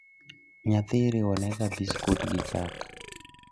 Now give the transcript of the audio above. Nyathi iriwonega biskut gi chak